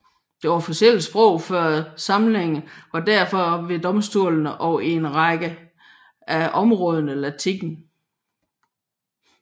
Det officielle sprog før samlingen var derfor ved domstolene og i en række af områderne latin